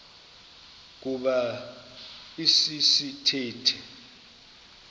kuba esi sithethe